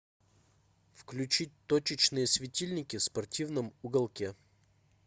включить точечные светильники в спортивном уголке